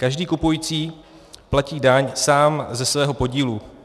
Každý kupující platí daň sám ze svého podílu.